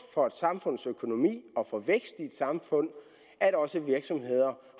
for et samfunds økonomi og for væksten i et samfund at også virksomheder